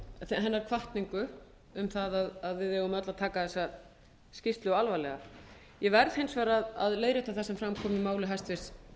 um að við eigum öll að taka þessa skýrslu alvarlega ég verð hins vegar að leiðrétta það sem fram kom í máli hæstvirts